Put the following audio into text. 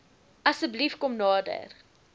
asseblief kom nader